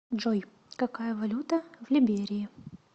джой какая валюта в либерии